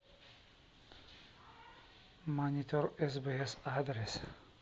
монитор сбс адрес